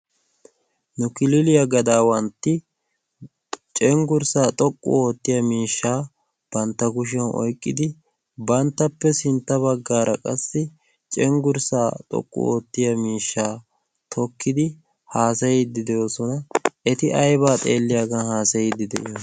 nu kiliiliyaa gadaawantti cenggurssaa xoqqu oottiya miishshaa bantta kushiyau oiqqidi. banttappe sintta baggaara qassi cenggurssaa xoqqu oottiya miishshaa tokkidi haasayiiddi de7oosona. eti aibaa xeelliyaagan haasayiiddi de7iyona?